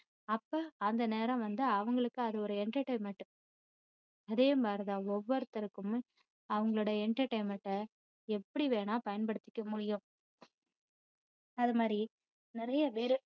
அப்போ அந்த நேரம் வந்து அவங்களுக்கு entertainment அதே மாதிரி தான் ஒவ்வொருத்தருக்கும் அவங்களோட entertainment அ எப்படி வேணும்னா பயன்படுத்திக்க முடியும் அது மாதிரி நிறைய பேரு,